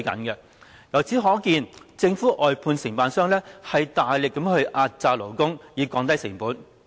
由此可見，政府外判承辦商大力壓榨勞工以降低成本。